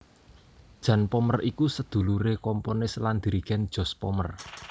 Jan Pommer iku saduluré komponis lan dirigèn Jos Pommer